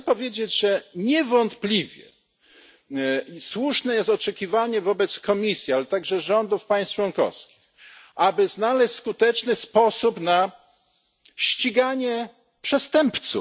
nie. Chcę powiedzieć, że niewątpliwie słuszne jest oczekiwanie wobec Komisji, ale także rządów państw członkowskich, by znaleźć skuteczny sposób na ściganie przestępców.